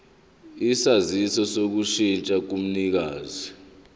isaziso sokushintsha komnikazi